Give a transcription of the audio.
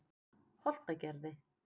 Holtagerði